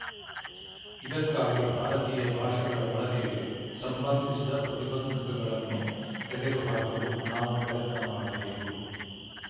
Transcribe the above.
ಇದಕ್ಕಾಗಿ ಭಾರತೀಯ ಭಾಷೆಗಳ ಬಳಕೆಗೆ ಸಂಬಂಧಿಸಿದ ಪ್ರತಿಬಂಧಕಗಳನ್ನು ತೆಗೆದುಹಾಕಲು ನಾವು ಪ್ರಯತ್ನ ಮಾಡಬೇಕು